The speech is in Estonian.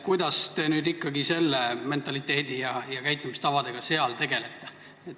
Kuidas te ikkagi selle mentaliteedi ja nende käitumistavadega seal tegelete?